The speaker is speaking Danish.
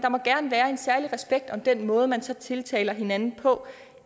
særlig respekt om den måde man så tiltaler hinanden på